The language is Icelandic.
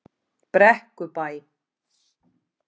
Brekkubæ